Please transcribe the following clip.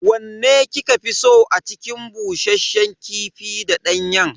Wanne kika fi so a cikin bushasshen kifi da danyen?